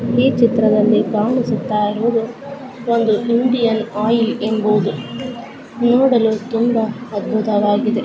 ಈ ಚಿತ್ರದಲ್ಲಿ ಕಾಣಿಸುತ್ತಾ ಇರೋದು ಒಂದು ಇಂಡಿಯನ್ ಆಯಿಲ್ ಎಂಬುದು ನೋಡಲು ತುಂಬಾ ಅದ್ಭುತವಾಗಿದೆ .